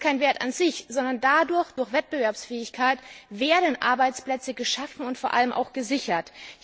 Es ist kein Wert an sich, sondern durch Wettbewerbsfähigkeit werden Arbeitsplätze geschaffen und vor allem auch gesichert.